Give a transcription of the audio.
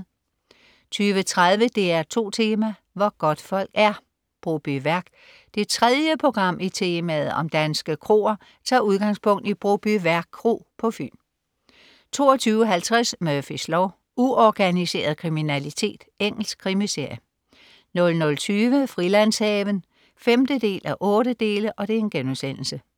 20.30 DR2 Tema: Hvor godtfolk er. Brobyværk. Det tredje program i temaet om danske kroer tager udgangspunkt i Brobyværk kro på Fyn 22.50 Murphys lov: Uorganiseret kriminalitet. Engelsk krimiserie 00.20 Frilandshaven 5:8*